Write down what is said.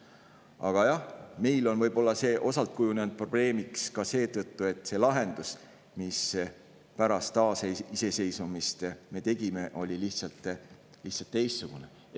Aga jah, meil on see võib-olla osalt kujunenud probleemiks ka seetõttu, et see lahendus, mille me pärast taasiseseisvumist, oli lihtsalt teistsugune.